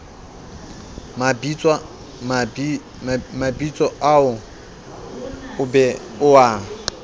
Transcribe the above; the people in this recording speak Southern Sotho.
mabitsoao o be o a